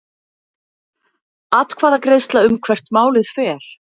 Atkvæðagreiðsla um hvert málið fer